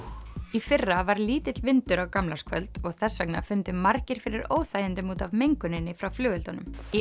í fyrra var lítill vindur á gamlárskvöld og þess vegna fundu margir fyrir óþægindum út af menguninni frá flugeldunum í